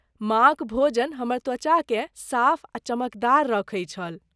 माँक भोजन हमर त्वचाकेँ साफ आ चमकदार रखै छल।